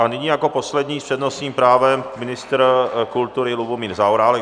A nyní jako poslední s přednostním právem ministr kultury Lubomír Zaorálek.